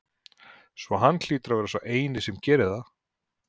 Svo hann hlýtur að vera sá eini sem gerir það?